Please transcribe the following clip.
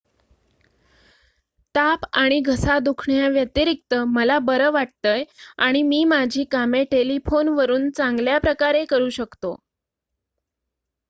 """ताप आणि घसा दुखण्याव्यतिरिक्त मला बरं वाटतंय आणि मी माझी कामे टेलिफोनवरून चांगल्याप्रकारे करू शकतो.